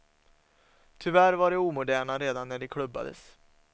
Tyvärr var de omoderna redan när de klubbades.